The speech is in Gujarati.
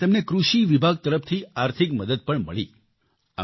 તેને માટે તેમને કૃષિ વિભાગ તરફથી આર્થિક મદદ પણ મળી